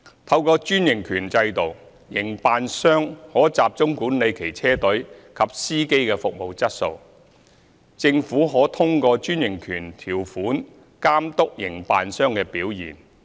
透過專營權制度，營辦商可集中管理其車隊及司機的服務質素，政府可通過專營權條款監督營辦商的表現。